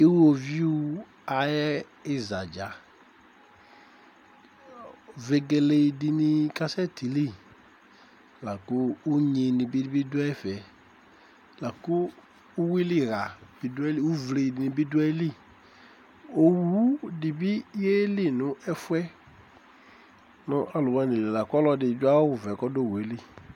Uwoviu ayɛ izadza véguélé dini ka sɛ tili laku unyini bi du ɛfɛ laku uwuili ḥ́a bi du ayili uvlé ni bi du ayili uwu di bi yéli nu ɛfɛ nu alu woani li laku ɔlɔdi du awu vɛ kɔ du owué li